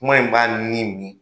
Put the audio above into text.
Kuma in b'a ni min